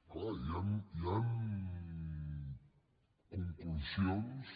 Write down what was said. és clar hi han conclusions